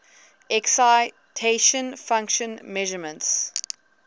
excitation function measurements